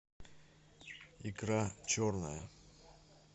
икра черная